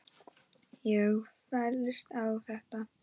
Ég fellst á þetta.